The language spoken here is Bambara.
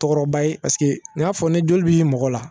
Tɔgɔba ye paseke n y'a fɔ ni joli b'i mɔgɔ la